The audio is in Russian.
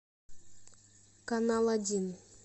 канал один